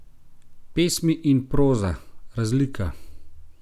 Pesmi in proza, razlika?